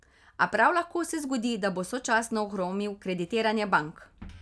A prav lahko se zgodi, da bo sočasno ohromil kreditiranje bank.